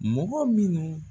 Mɔgɔ minnu